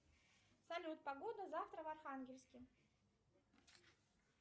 салют погода завтра в архангельске